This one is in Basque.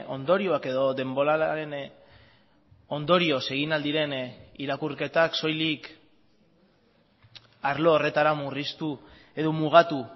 ondorioak edo denboralaren ondorioz egin al diren irakurketak soilik arlo horretara murriztu edo mugatu